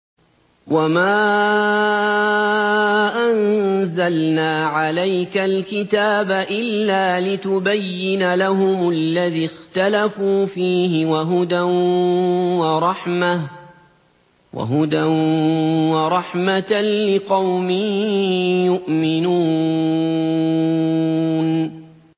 وَمَا أَنزَلْنَا عَلَيْكَ الْكِتَابَ إِلَّا لِتُبَيِّنَ لَهُمُ الَّذِي اخْتَلَفُوا فِيهِ ۙ وَهُدًى وَرَحْمَةً لِّقَوْمٍ يُؤْمِنُونَ